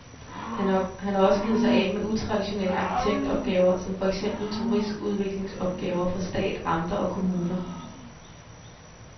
Han har også givet sig af med utraditionelle arkitektopgaver, som for eksempel turistudviklingsopgaver for stat, amter og kommuner.